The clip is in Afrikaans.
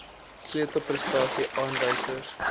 sleutel prestasie aanwysers